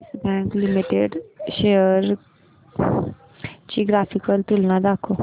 yes Bank Limited च्या shares ची graphical तुलना दाखव